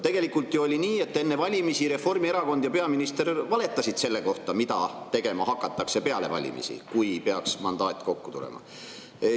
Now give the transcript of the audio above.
" Tegelikult ju oli nii, et enne valimisi Reformierakond ja peaminister valetasid selle kohta, mida peale valimisi tegema hakatakse, kui peaks mandaat kokku tulema.